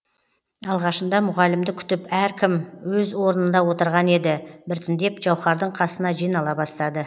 алғашында мұғалімді күтіп әркім өз орнында отырған еді біртіндеп жауһардың қасына жинала бастады